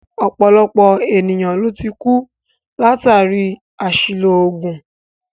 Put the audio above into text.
Ọ̀pọ̀lọpọ̀ ènìyàn ló tí kú látàri àṣìlò oògùn.